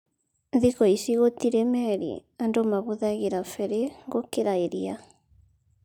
Thikũ ici gũtirĩ meli andu mahuthagĩra feri gukĩra iria